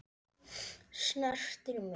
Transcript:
Snertir mig.